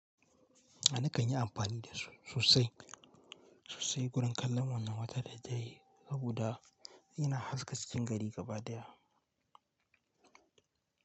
Nakan yi amfani da su sosai, sosai wurin kallon wannan wata da daddare saboda ina haska cikin gari gaba daya.